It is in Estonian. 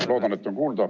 Ma loodan, et on kuulda.